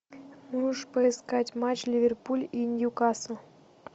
можешь поискать матч ливерпуль и ньюкасл